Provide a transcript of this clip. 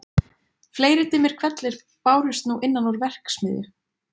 Fleiri dimmir hvellir bárust nú innan úr verksmiðju